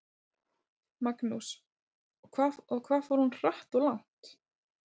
Magnús: Og hvað fór hún hratt og langt?